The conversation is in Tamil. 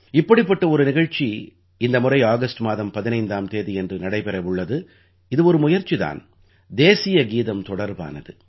இப்படிப்பட்ட ஒரு நிகழ்ச்சி இந்த முறை ஆகஸ்ட் மாதம் 15ஆம் தேதியன்று நடைபெற உள்ளது இது ஒரு முயற்சி தான் தேசிய கீதம் தொடர்பானது